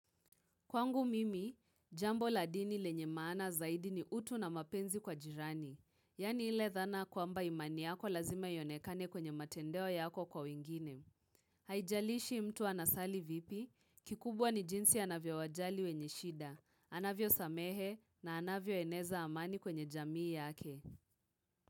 Kwangu mimi, jambo ladini lenye maana zaidi ni utu na mapenzi kwa jirani, yani ile dhana kwa mba imani yako lazima yonekane kwenye matendeo yako kwa wingine. Haijalishi mtu anasali vipi, kikubwa ni jinsi anavyo wajali wenye shida, anavyo samehe na anavyo eneza amani kwenye jamii yake.